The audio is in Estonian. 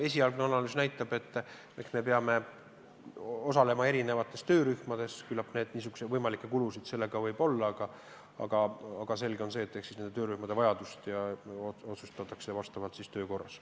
Esialgne analüüs näitab, et me peame osalema erinevates töörühmades ja küllap võimalikke kulusid sellega seoses võib olla, aga selge on, et nendes töörühmades osalemise vajadus otsustatakse töö korras.